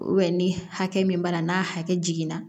ni hakɛ min b'a la n'a hakɛ jiginna